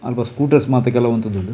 ಅಲ್ಪ ಸ್ಕೂಟರ್ಸ್ ಮಾತ ಕೆಲವು ಉಂತುದುಂಡು.